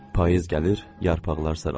Payız gəlir, yarpaqlar saralır.